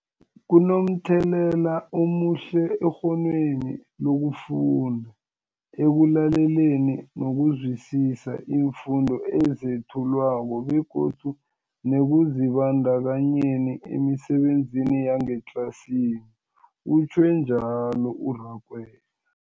Kunomthelela omuhle ekghonweni lokufunda, ekulaleleni nokuzwisiswa iimfundo ezethulwako begodu nekuzibandakanyeni emisebenzini yangetlasini, utjhwe njalo u-Rakwena.